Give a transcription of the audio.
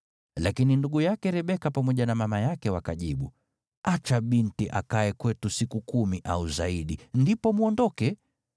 Lakini ndugu yake Rebeka pamoja na mama yake wakajibu, “Acha binti akae kwetu siku kumi au zaidi, ndipo mwondoke.”